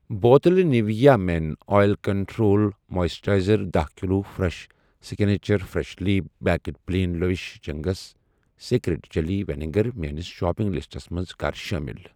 بوتلہٕ Nivea men oil control moisturizer دَہ kilo fresh signature freshly baked plain lavish Ching's secret chilli vinegar mayonnaise shopping لسٹَس منز کَر شاملِ.